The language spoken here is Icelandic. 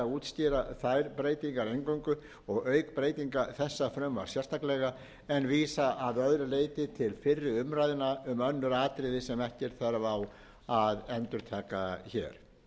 öðru leyti til fyrri umræðna um önnur atriði sem ekki er þörf á að endurtaka hér